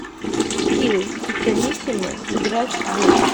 скилл пиццанисимо сыграть в